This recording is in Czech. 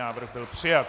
Návrh byl přijat.